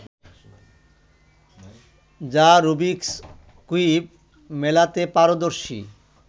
যা Rubik's cube মেলাতে পারদর্শী